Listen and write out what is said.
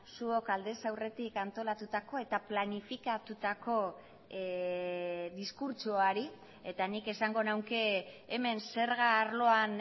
zuok aldez aurretik antolatutako eta planifikatutako diskurtsoari eta nik esango nuke hemen zerga arloan